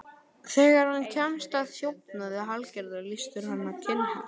Þegar hann kemst að þjófnaði Hallgerðar, lýstur hann hana kinnhest.